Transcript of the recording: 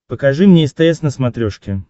покажи мне стс на смотрешке